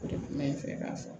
O de kun bɛ n fɛ k'a fɔ